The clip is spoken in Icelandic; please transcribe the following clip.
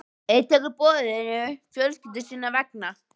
Einn tekur boðinu fjölskyldu sinnar vegna.